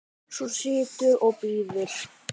Svo situr og bíður.